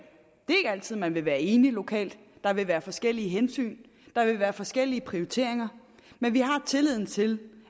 altid man vil være enige lokalt der vil være forskellige hensyn der vil være forskellige prioriteringer men vi har tilliden til